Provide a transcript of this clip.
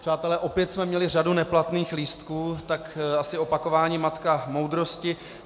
Přátelé, opět jsme měli řadu neplatných lístků, tak asi opakování matka moudrosti.